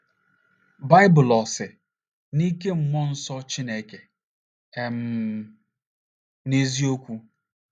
Baịbụl Ò Si “ n’Ike Mmụọ Nsọ Chineke ” um n’Eziokwu?